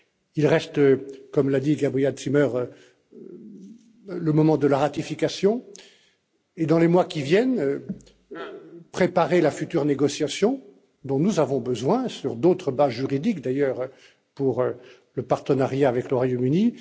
Il reste, comme l'a dit Gabriele Zimmer, le moment de la ratification et, dans les mois qui viennent, il faut préparer la future négociation dont nous avons besoin, sur d'autres bases juridiques d'ailleurs, pour le partenariat avec le Royaume Uni.